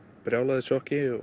brjáluðu sjokki